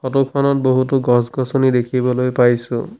Photo খনত বহুতো গছ গছনি দেখিবলৈ পাইছোঁ।